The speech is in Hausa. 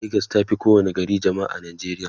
legas tafi kowa ni gari jamma'a a nijeriya